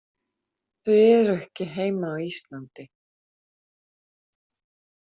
Þau eru ekki heima á Íslandi.